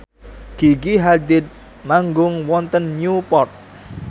Gigi Hadid manggung wonten Newport